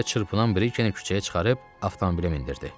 O hələ də çırpınan Brikeni küçəyə çıxarıb avtomobilə mindirdi.